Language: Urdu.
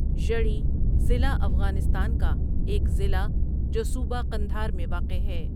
ژڑی ضلع افغانستان کا ایک ضلع جو صوبہ قندہار میں واقع ہے.